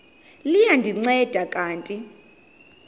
liya ndinceda kanti